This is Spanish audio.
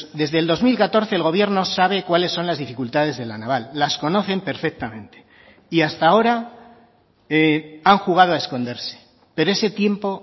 desde el dos mil catorce el gobierno sabe cuáles son las dificultades de la naval las conocen perfectamente y hasta ahora han jugado a esconderse pero ese tiempo